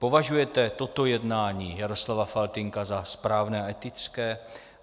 Považujete toto jednání Jaroslava Faltýnka za správné a etické?